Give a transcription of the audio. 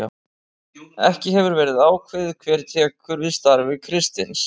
Ekki hefur verið ákveðið hver tekur við starfi Kristins.